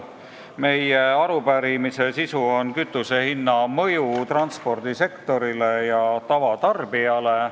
Meie arupärimise sisu on kütusehinna mõju transpordisektorile ja tavatarbijale.